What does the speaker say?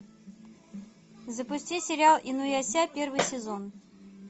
запусти сериал инуяся первый сезон